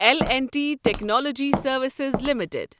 L and T Technology Services limited